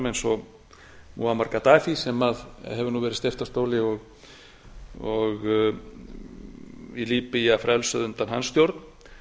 alræmdum glæpamönnum eins og múhammed kadafi sem hefur nú verið steypt af stóli og líbía frelsuð undan hans stjórn